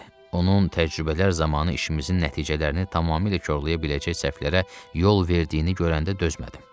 Onun təcrübələr zamanı işimizin nəticələrini tamamilə korlaya biləcək səhvlərə yol verdiyini görəndə dözmədim.